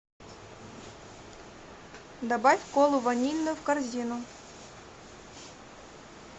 добавь колу ванильную в корзину